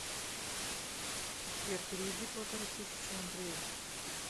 сбер переведи полторы тысячи андрею